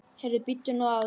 Heyrðu, bíddu nú aðeins!